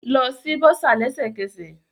Lọ si bursar lẹsẹkẹsẹ